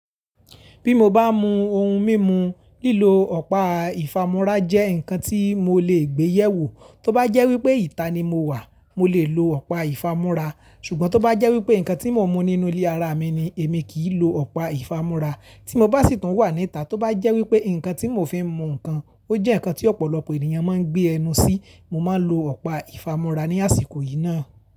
Bí mo bá mu ohun mímu, lílo ọ̀pá ìfámúrá jẹ́ nǹkan tí mo lè gbéyèwò. Tóbá jẹ́ wípé ìta ni mo wà, mo lè lo ọ̀pá ìfámúrá, ṣùgbọ́n tóbá jẹ́ wípé nǹkan tí mo mu nínú ilé ara mi ni, èmi kì í lo ọ̀pá ìfámúrá. Tí mo bá sì tùn wà ní ìta, tóbá jẹ́ wípé nǹkan tí mo fi ń mu nǹkan, ó jẹ́ nǹkan tí ọ̀pọ̀lọpọ̀ ènìyàn máa ń gbé ẹnu sí, mo máa lo ọ̀pá ìfámúrá ní àsìkò yìí náà.